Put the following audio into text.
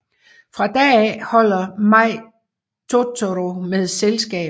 Fra da af holder Mei Totoro med selskab